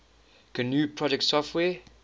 gnu project software